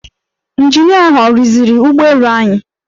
Ịnjinia ahụ ọ rụziri ụgbọelu anyị?